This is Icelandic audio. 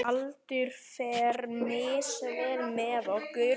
Aldur fer misvel með okkur.